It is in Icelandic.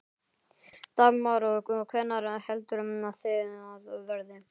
Dagmar: Og hvenær heldurðu að það verði?